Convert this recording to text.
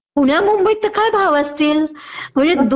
पुण्या मुंबईत तर काय भाव असतील म्हणजे